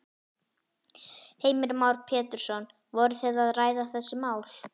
Heimir Már Pétursson: Voru þið að ræða þessi mál?